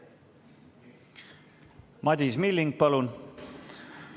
Madis Milling, palun!